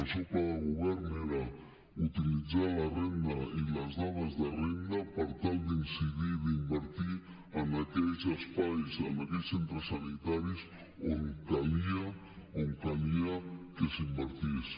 el seu pla de govern era utilitzar la renda i les dades de renda per tal d’incidir d’invertir en aquells espais en aquells centres sanitaris on calia que s’invertís